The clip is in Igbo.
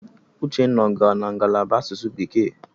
Uchenna ọ gara na ngalaba asụsụ bekee?